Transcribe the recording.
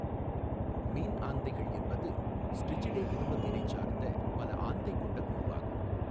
மீன் ஆந்தைகள் என்பது ஸ்ட்ரிஜிடே குடும்பத்தினைச் சார்ந்த பலஆந்தை கொண்ட குழுவாகும்.